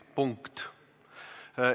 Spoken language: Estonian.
Punkt!